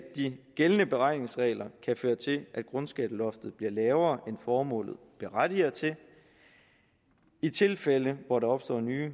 de gældende beregningsregler kan føre til at grundskatteloftet bliver lavere end formålet berettiger til i tilfælde hvor der opstår nye